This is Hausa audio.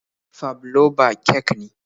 Fabloba kek ne.